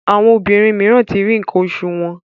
Àwọn obìrin míràn tí rí nkan osu wón.